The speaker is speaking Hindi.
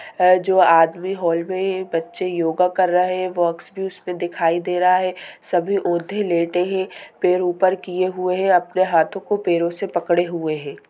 अ जो आदमी हॉल में बच्चे योगा कर रहे हैं बॉक्स भी उसमें दिखाई दे रहा है सभी औंधे लेटे हैं पैर ऊपर किए हुए हैं अपने हाथों को पैरों से पकड़े हुए हैं।